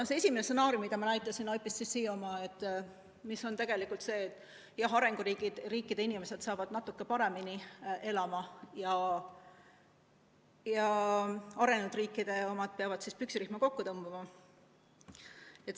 See esimene stsenaarium, mida ma näitasin, IPCC oma, on tegelikult see, et arenguriikide inimesed hakkavad natuke paremini elama ja arenenud riikide omad peavad püksirihma kokku tõmbama.